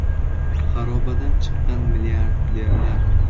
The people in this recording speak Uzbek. Xarobadan chiqqan milliarderlar.